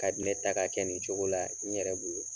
Ka di ne ta ka kɛ nin cogo la n yɛrɛ bolo